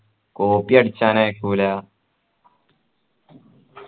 കോപ്പിയടിച്ചാൻ ആക്കുല